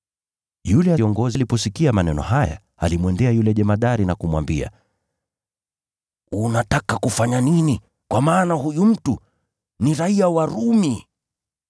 Yule kiongozi aliposikia maneno haya, alimwendea yule jemadari na kumwambia, “Unataka kufanya nini? Kwa maana huyu mtu ni raiya wa Rumi.”